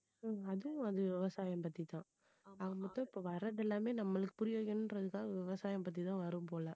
உம் அது அது விவசாயம் பத்தி தான் ஆக மொத்தம் இப்ப வர்றது எல்லாமே நம்மளுக்கு புரிய வைக்கணுன்றதுதான் விவசாயம் பத்திதான் வரும் போல